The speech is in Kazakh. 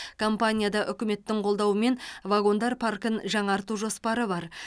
компанияда үкіметтің қолдауымен вагондар паркін жаңарту жоспары бар